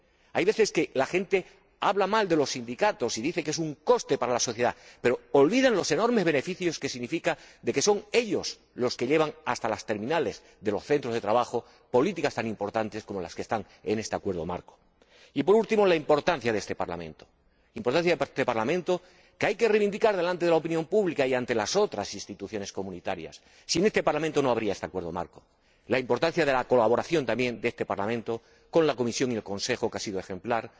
A veces la gente habla mal de los sindicatos y dice que son un coste para la sociedad pero olvidan los enormes beneficios que aportan ya que son ellos los que llevan hasta las terminales de los centros de trabajo políticas tan importantes como las que están en este Acuerdo Marco. Y, por último, la importancia de este Parlamento, que hay que reivindicar ante la opinión pública y ante las otras instituciones comunitarias —sin este Parlamento, no habría este Acuerdo Marco— y la importancia de la colaboración, también, de este Parlamento con la Comisión y el Consejo, que ha sido ejemplar.